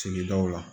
Sigidaw la